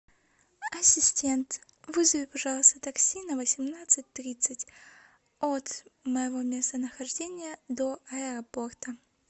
ассистент вызови пожалуйста такси на восемнадцать тридцать от моего местонахождения до аэропорта